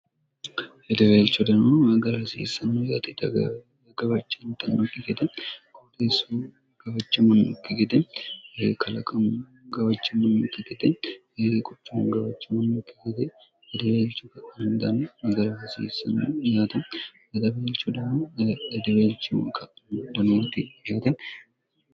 hedeweelchodamo magara hasiissanno yaati tggabachantannokki gede qutiissu gawachamonnukki gede ekalaqam gawachanmonnokki gete ye quchun gawachamonnukki gede hedeweelchu kandana magara hasiissanno yaate godabeelchodamo edeweelchi monioti yaate